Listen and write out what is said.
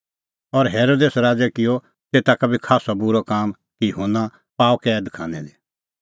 और हेरोदेस राज़ै किअ तेता का बी खास्सअ बूरअ काम कि युहन्ना पाअ कैद खानै दी